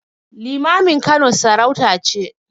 Limamin Kano sarauta ce.